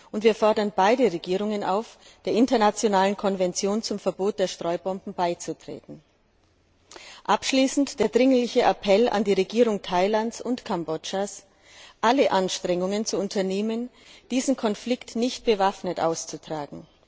Und wir fordern beide Regierungen auf, der internationalen Konvention zum Verbot der Streubomben beizutreten. Abschließend der dringliche Appell an die Regierung Thailands und Kambodschas, alle Anstrengungen zu unternehmen, diesen Konflikt nicht bewaffnet auszutragen.